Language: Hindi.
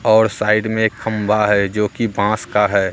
और साइड में एक खंभा है जो कि बांस का है।